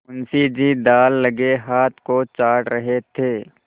मुंशी जी दाललगे हाथ को चाट रहे थे